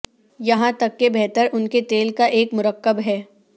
یہاں تک کہ بہتر ان کے تیل کا ایک مرکب ہے